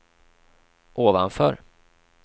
ovanför